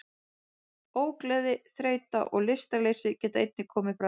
Ógleði, þreyta og lystarleysi geta einnig komið fram.